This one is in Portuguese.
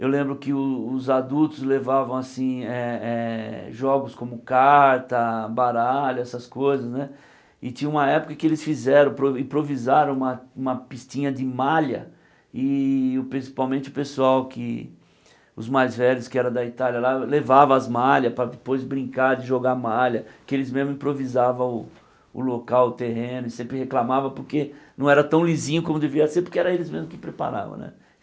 Eu lembro que o os adultos levavam assim eh eh jogos como carta, baralho, essas coisas né, e tinha uma época que eles fizeram provi improvisaram uma pistinha de malha e principalmente o pessoal, que os mais velhos, que eram da Itália lá, levavam as malhas para depois brincar de jogar malha, que eles mesmos improvisavam o local, o terreno, e sempre reclamavam porque não era tão lisinho como deveria ser, porque eram eles mesmos que preparavam né.